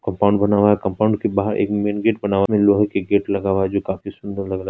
Compound बना हुआ है कंपाउंड के बाहर एक मेनगेट बना हुआ उनमे लोहे की गेट लगा हुआ जो काफी सुन्दर लग रहा है।